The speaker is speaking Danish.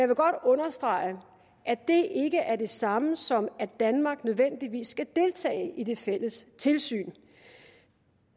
vil godt understrege at det ikke er det samme som at danmark nødvendigvis skal deltage i det fælles tilsyn